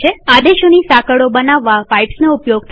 આદેશોની સાંકળો બનાવવા પાઈપ્સનો ઉપયોગ થાય છે